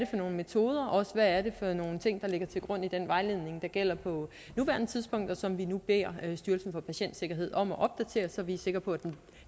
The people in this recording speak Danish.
for nogle metoder og hvad det for nogle ting der ligger til grund for den vejledning der gælder på nuværende tidspunkt og som vi nu beder styrelsen for patientsikkerhed om at opdatere så vi er sikre på at den